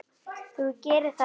Þú gerir það ekki!